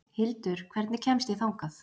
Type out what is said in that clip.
Hildur, hvernig kemst ég þangað?